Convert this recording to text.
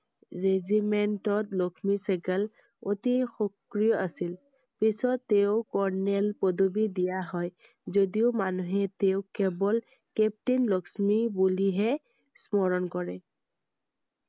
regiment Lakshmi Sahgal অতি সক্ৰিয় আছিল I পিছত তেওঁক colonel পদবী দিয়া হয় যদিও মানুহে তেওঁক কেৱল captain লক্ষ্মী বুলিহে স্মৰণ কৰেI